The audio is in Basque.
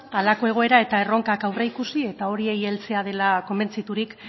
halako egoera eta erronkak aurreikusi eta horiei heltzea dela konbentziturik